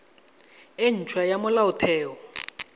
e nt hwa ya molaotheo